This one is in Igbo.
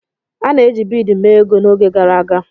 A na-eji bead mee ego n'oge gara aga.